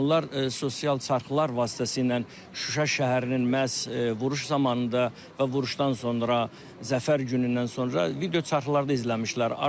Onlar sosial çarxlar vasitəsilə Şuşa şəhərinin məhz vuruş zamanında və vuruşdan sonra zəfər günündən sonra video çarxlarda izləmişdilər.